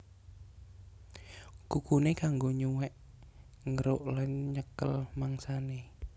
Kukuné kanggo nyuwèk ngeruk lan nyekel mangsané